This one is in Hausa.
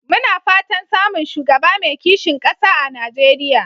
Muna fatan samun shugaba mai kishin ƙasa a Najeriya.